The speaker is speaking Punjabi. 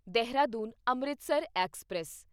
ਦੇਹਰਾਦੂਨ ਅੰਮ੍ਰਿਤਸਰ ਐਕਸਪ੍ਰੈਸ